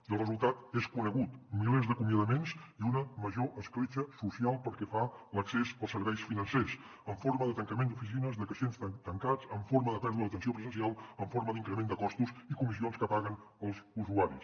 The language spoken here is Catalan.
i el resultat és conegut milers d’acomiadaments i una major escletxa social pel que fa a l’accés als serveis financers en forma de tancament d’oficines de caixers tancats en forma de pèrdua d’atenció presencial en forma d’increment de costos i comissions que paguen els usuaris